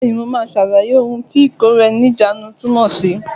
Bẹ́ẹ̀ni, mo máa ṣàlàyé ohun tí ìkóra ẹni ní ìjánu túmọ̀ sí.